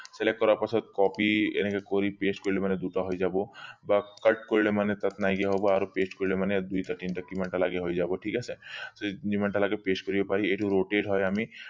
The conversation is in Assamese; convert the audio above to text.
select কৰাৰ পাছত copy এনেকে কৰি paste কৰিলে মানে দুটা হৈ যাব বা কৰিলে মানে তাত নাইকিয়া হব আৰু paste কৰিলে মানে দুইটা তিনটা কিমানটা লাগে হৈ যাব ঠিক আছে যিমান টা লাগে paste কৰিব পাৰি এইটো rotated হয় আমি